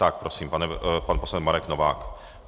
Tak prosím, pan poslanec Marek Novák.